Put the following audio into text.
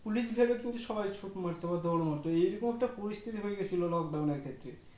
Police ভেবে খুব সবাই ছুট মারতো দোর মারতো এইরকম তে পরিস্থিতি হয়েগেছিলো Lockdown ক্ষেত্রে